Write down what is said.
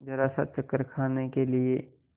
जरासा चक्कर खाने के लिए